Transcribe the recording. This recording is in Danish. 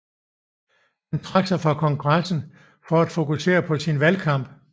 Han trak sig fra kongressen for at fokusere på sin valgkamp